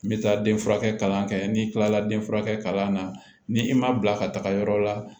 N bɛ taa den furakɛ kalan kɛ n'i kilala den furakɛ na ni i ma bila ka taga yɔrɔ la